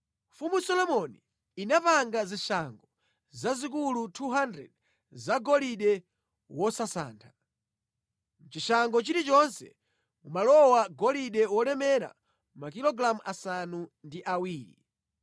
Mfumu Solomoni inapanga zishango zazikulu 200 zagolide wosasantha. Mʼchishango chilichonse mumalowa golide wolemera makilogalamu asanu ndi awiri.